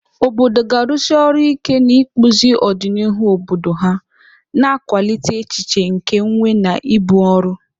Obodo ga-arụsi ọrụ ike n'ịkpụzi ọdịnihu obodo ha, na-akwalite echiche nke nwe na ibu ọrụ.